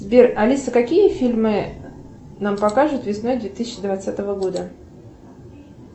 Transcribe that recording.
сбер алиса какие фильмы нам покажут весной две тысячи двадцатого года